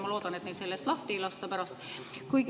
Ma loodan, et neid selle eest pärast lahti ei lasta.